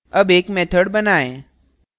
अब एक method बनाएँ